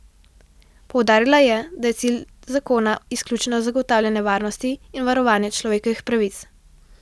Poudarila je, da je cilj zakona izključno zagotavljanje varnosti in varovanje človekovih pravic.